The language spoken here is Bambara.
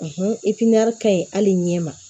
ka ɲi hali ɲɛ ma